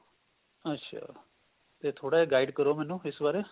ਅੱਛਾ ਤੇ ਥੋੜਾ ਜਾ guide ਕਰੋ ਮੈਨੂੰ ਇਸ ਬਾਰੇ